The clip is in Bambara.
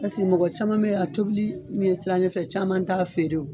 Pase mɔgɔ caman bɛ ye, a cobili ɲɛ siranɲɛ fɛ caman t'a feere o.